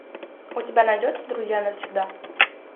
у тебя найдется друзья навсегда